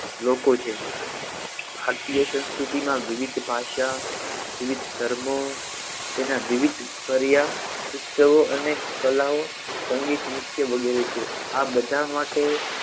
લોકો છે ભારતીય સંસ્કૃતિમાં વિવિધ ભાષા વિવિધ ધર્મો તેના વિવિધ પર્યા ઉત્સવો અને કલાઓ સંગીત નૃત્ય વગેરે છે આ બધા માટે